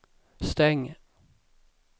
stäng